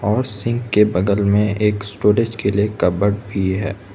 और सिंक के बगल में एक स्टोरेज के लिए कबड भी है।